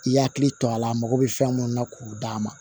I hakili to a la a mago bɛ fɛn mun na k'o d'a ma